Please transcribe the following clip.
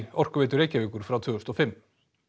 Orkuveitu Reykjavíkur frá tvö þúsund og fimm